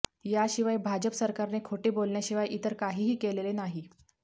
याशिवाय भाजप सरकारने खोटे बोलण्याशिवाय इतर काहीही केलेले नाही